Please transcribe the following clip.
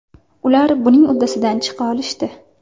Ular buning uddasidan chiqa olishdi.